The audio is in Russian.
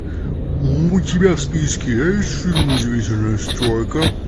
у тебя в списке есть фильм удивительная стройка